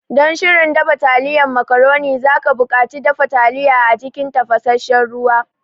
Don shirin dafa taliyan macaroni, za ka buƙaci dafa taliya a cikin tafasassen ruwa.